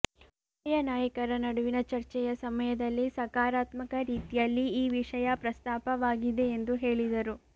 ಉಭಯ ನಾಯಕರ ನಡುವಿನ ಚರ್ಚೆಯ ಸಮಯದಲ್ಲಿ ಸಕಾರಾತ್ಮಕ ರೀತಿಯಲ್ಲಿ ಈ ವಿಷಯ ಪ್ರಸ್ತಾಪವಾಗಿದೆ ಎಂದು ಹೇಳಿದರು